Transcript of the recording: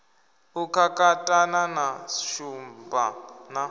u kakatana na shumba na